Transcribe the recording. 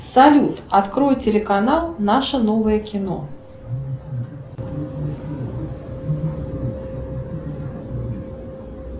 салют открой телеканал наше новое кино